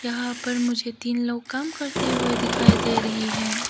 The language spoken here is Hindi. यहां पर मुझे तीन लोग काम करते हुए दिखाई दे रही हैं।